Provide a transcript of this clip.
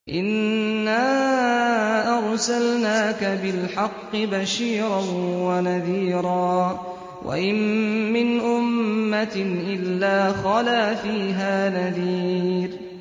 إِنَّا أَرْسَلْنَاكَ بِالْحَقِّ بَشِيرًا وَنَذِيرًا ۚ وَإِن مِّنْ أُمَّةٍ إِلَّا خَلَا فِيهَا نَذِيرٌ